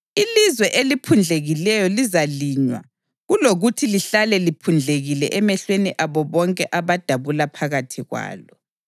Ilizwe eliphundlekileyo lizalinywa kulokuthi lihlale liphundlekile emehlweni abo bonke abadabula phakathi kwalo.